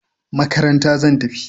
Makaranta zan tafi